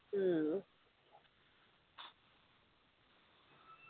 ഉം